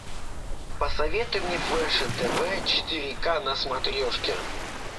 посоветуй мне фэшн тв четыре к на смотрешке